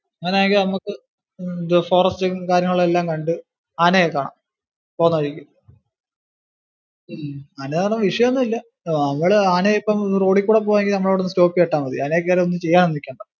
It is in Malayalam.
അങ്ങനാണെങ്കിൽ നമക്ക് forest ഉം കാര്യങ്ങളും എല്ലാം കണ്ടു ആനേ ഒക്കെ കാണാം പോന്ന വഴിക്ക് ഉം അല്ലാതെ വിഷയം ഒന്നും ഇല്ല നമ്മള് ആന ഇപ്പം road ഇൽ കൂടി പോവാണെങ്കിൽ stop ചെയ്തിട്ടാ മതി. അതിനെ കേറി ഒന്നും ചെയ്യാൻ ഒന്നും നിൽക്കേണ്ട.